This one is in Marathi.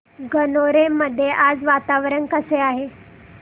गणोरे मध्ये आज वातावरण कसे आहे